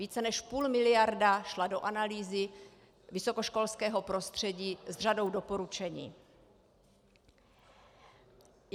Více než půl miliardy šlo do analýzy vysokoškolského prostředí s řadou doporučení.